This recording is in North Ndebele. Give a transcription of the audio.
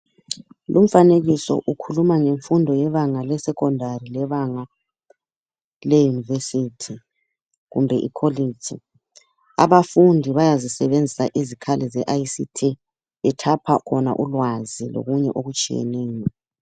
Lumfanekiso ukhuluma ngemfundo yebanga lesecondary lebanga le university kumbe I college. Abafundi bayazisebenzisa izikhali ze ICT bethapha khona ulwazi lokunye okutshiyeneyo.